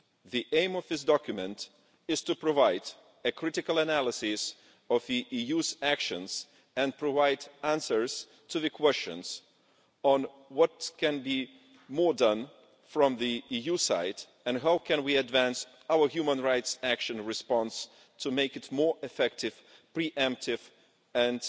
The aim of this document is to provide a critical analysis of the EU's actions and provide answers to the questions on what more can be done from the EU side, and how we can advance our human rights action response to make it more effective, pre emptive and